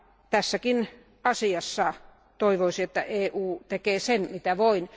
Tässäkin asiassa toivoisin, että EU tekee sen mitä voi.